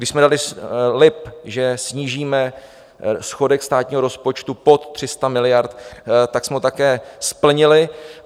My jsme dali slib, že snížíme schodek státního rozpočtu pod 300 miliard, tak jsme ho také splnili.